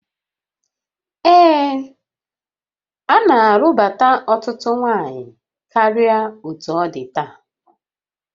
Ee, a na-alụbụ ọtụtụ nwanyị karịa otú ọ dị taa